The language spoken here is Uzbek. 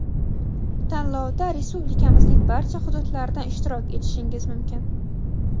Tanlovda Respublikamizning barcha xududlaridan ishtirok etishingiz mumkin!.